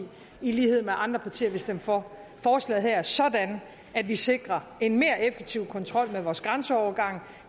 i lighed med andre partier vil stemme for forslaget her sådan at vi sikrer en mere effektiv kontrol med vores grænseovergange